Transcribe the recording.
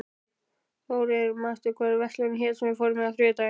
Þórinn, manstu hvað verslunin hét sem við fórum í á þriðjudaginn?